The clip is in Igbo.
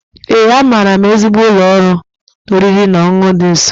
Ee, amaara m ezigbo ụlọ oriri na ọṅụṅụ dị nso.